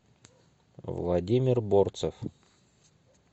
владимир борцев